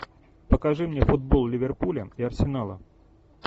покажи мне футбол ливерпуля и арсенала